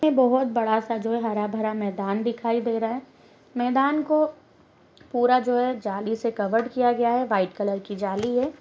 बहुत बड़ा सा जो है हारा भरा मैदान दिखाई दे रहा हैं मैदान को पूरा जो है जाली से कवर किया गया है वाएट कलर की जाली है।